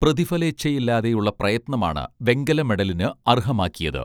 പ്രതിഫലേച്ഛയില്ലാതെയുള്ള പ്രയത്നം ആണ് വെങ്കലമെഡലിന് അർഹമാക്കിയത്